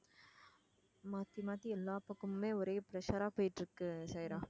மாத்தி மாத்தி எல்லா பக்கமுமே ஒரே pressure ஆ போயிட்டு இருக்கு